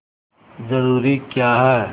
जरूरी क्या है